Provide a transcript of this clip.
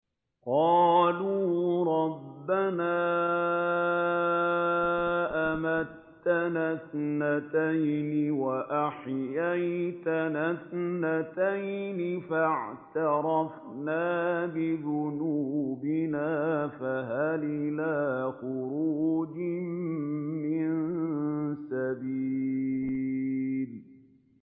قَالُوا رَبَّنَا أَمَتَّنَا اثْنَتَيْنِ وَأَحْيَيْتَنَا اثْنَتَيْنِ فَاعْتَرَفْنَا بِذُنُوبِنَا فَهَلْ إِلَىٰ خُرُوجٍ مِّن سَبِيلٍ